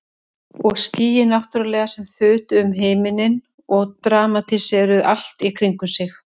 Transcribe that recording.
Og skýin náttúrlega sem þutu um himininn og dramatíseruðu allt í kringum sig.